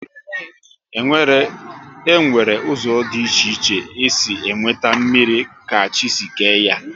E nwere ụzọ dị iche iche e si enweta mmrir ka chi si kee ya